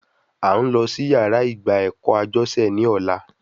À ń lọ sí yàrá ìgba ẹ̀kọ́ Ajose ní ọ̀la